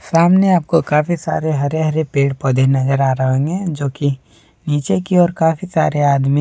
सामने आपको काफी सारे हरे हरे पेड़ पौधे नजर आ रहे होंगे जो की नीचे की ओर काफी सारे आदमी--